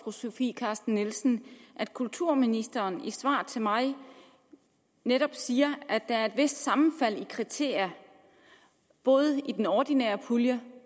fru sofie carsten nielsen at kulturministeren i et svar til mig netop siger at der er et vist sammenfald i kriterier i både den ordinære pulje